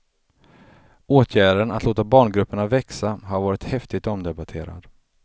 Åtgärden, att låta barngrupperna växa, har varit häftigt omdebatterad.